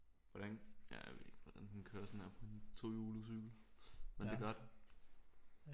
Hvordan ja jeg ved ikke hvordan den kører sådan der på sådan en tohjulet cykel men det gør den